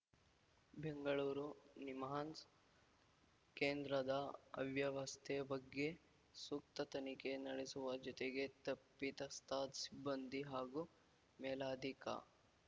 ಬೆಂಗಳೂರು ನಿಮ್ಹಾನ್ಸ್‌ ಕೇಂದ್ರದ ಅವ್ಯವಸ್ಥೆ ಬಗ್ಗೆ ಸೂಕ್ತ ತನಿಖೆ ನಡೆಸುವ ಜೊತೆಗೆ ತಪ್ಪಿತಸ್ತ ಸಿಬ್ಬಂದಿ ಹಾಗೂ ಮೇಲಾಧಿಕಾ